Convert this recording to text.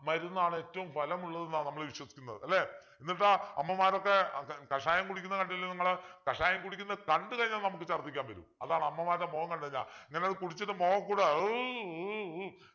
മരുന്നാണ് ഏറ്റവും ഫലമുള്ളത് എന്നാ നമ്മള് വിശ്വസിക്കുന്നത് അല്ലെ എന്നിട്ട് അമ്മമാരൊക്കെ കഷായം കുടിക്കുന്ന കണ്ടില്ലേ നിങ്ങള് കഷായം കുടിക്കുന്നത് കണ്ടു കഴിഞ്ഞാൽ നമുക്ക് ഛര്ദിക്കാൻ വരും അതാണ് അമ്മമാരുടെ മുഖം കണ്ടു കഴിഞ്ഞാൽ ഇങ്ങനെ കുടിച്ചിട്ട് മുഖം ഒക്കെ കൂടെ